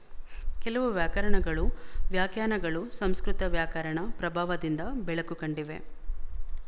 ಕೆಲವು ವ್ಯಾಕರಣಗಳು ವ್ಯಾಖ್ಯಾನಗಳು ಸಂಸ್ಕೃತ ವ್ಯಾಕರಣ ಪ್ರಭಾವದಿಂದ ಬೆಳಕು ಕಂಡಿವೆ